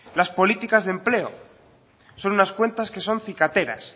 las políticas de empleo son unas cuentas que son cicateras